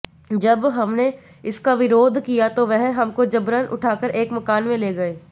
जब हमने इसका विरोध किया तो वह हमको जबरन उठाकर एक मकान में ले गए